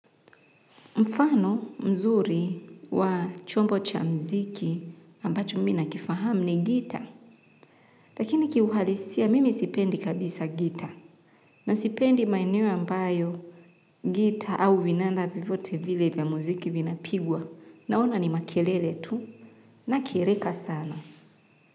Mfano mzuri wa chombo cha muziki ambacho mimi na kifahamu ni gitaa. Lakini kiuhalisia mimi sipendi kabisa gitaa. Na sipendi maeneo ambayo gitaa au vinanda vyovyote vile vya muziki vinapigwa. Naona ni makelele tu nakereka sana.